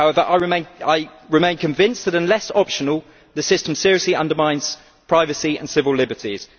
However, I remain convinced that, unless optional, the system seriously undermines privacy and civil liberties.